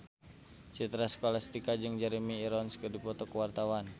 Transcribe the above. Citra Scholastika jeung Jeremy Irons keur dipoto ku wartawan